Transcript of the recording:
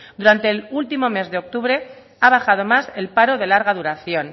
durante el último mes de octubre ha bajado más el paro de larga duración